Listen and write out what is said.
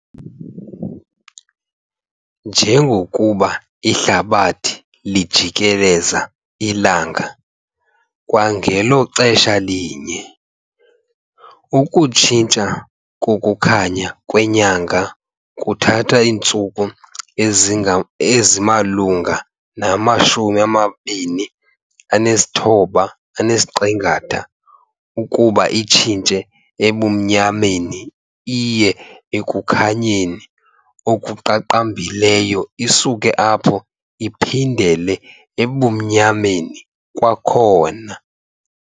Njengokuba ihlabathi lijikelelza ilanga kwangelo xesha linye, ukutshintsha kokukhanya kwenyanga kuthatha iintsuku ezimalunga nama-29½ ukuba itshintshe ebumnyameni iye ekukhanyeni okuqaqambileyo isuke apho iphindele ebumnyameni kwakhona.